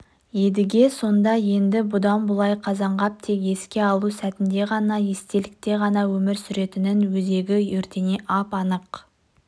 едіге сонда енді бұдан былай қазанғап тек еске алу сәтінде ғана естелікте ғана өмір сүретінін өзегі өртене ап-анық